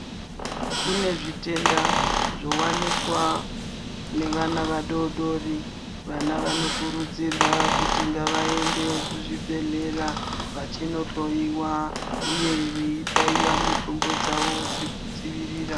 Kune zvitenda zvowanikwa nevana vadodori. Vana vanokurudzirwa kuti ngavaende kuzvibhedhlera vachinohloiwa ,uye veibaiwa mitombo dzavo dzekudziirira.